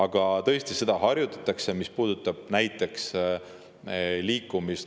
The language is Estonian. Ja tõesti seda harjutatakse, mis puudutab näiteks liikumist.